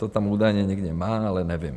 To tam údajně někde má, ale nevím.